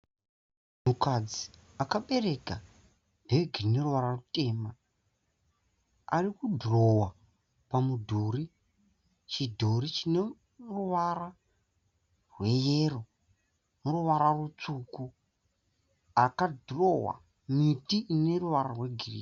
Mukadzi akabereka bhegi rine rwuvara rwutema, ari kudhirowa pamudhuru chidhori chine ruvara rweyero neruvara rwutsvuku, akadhirowa miti ine ruvara rwegirini.